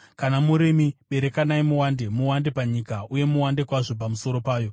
Kana murimi, berekanai muwande; muwande panyika uye muwande kwazvo pamusoro payo.”